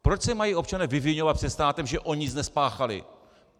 Proč se mají občané vyviňovat před státem, že oni nic nespáchali?